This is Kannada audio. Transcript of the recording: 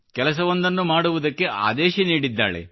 ಕೆಲಸವೊಂದನ್ನು ಮಾಡುವುದಕ್ಕೆ ಆದೇಶ ನೀಡಿದ್ದಾಳೆ